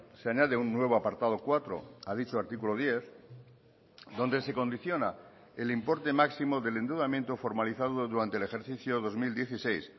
se añade un nuevo apartado cuatro a dicho artículo diez donde se condiciona el importe máximo del endeudamiento formalizado durante el ejercicio dos mil dieciséis